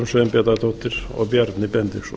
sveinbjarnardóttir og bjarni benediktsson